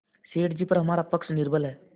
सेठ जीपर हमारा पक्ष निर्बल है